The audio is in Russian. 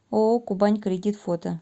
ооо кубань кредит фото